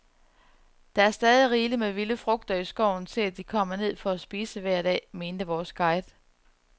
Der er stadig rigeligt med vilde frugter i skoven til, at de kommer ned for at spise hver dag, mente vores guide.